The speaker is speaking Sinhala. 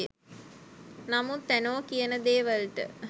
නමුත් ඇනෝ කියන දේ වලට